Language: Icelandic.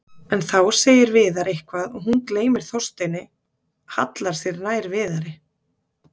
En þá segir Viðar eitthvað og hún gleymir Þorsteini, hallar sér nær Viðari.